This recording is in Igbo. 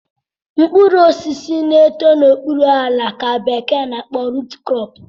Mkpuru osisi na-eto n'okpuru ala ka bekee n'akpo root crop